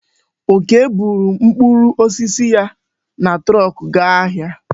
Okee bu mkpụrụ osisi ya na trọọkụ gaa ahịa.